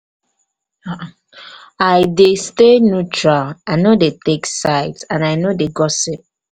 i dey stay neutral i no dey take sides and i no dey gossip.